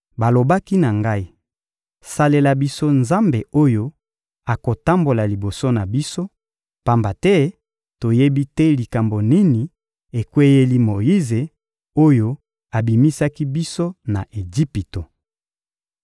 Balobaki na ngai: «Salela biso Nzambe oyo akotambola liboso na biso, pamba te toyebi te likambo nini ekweyeli Moyize oyo abimisaki biso na Ejipito.»